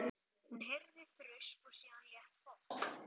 Hún heyrði þrusk og síðan létt hopp.